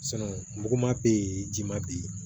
muguman bɛ yen ji ma bɛ yen